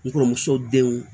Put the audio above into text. N kɔrɔmuso denw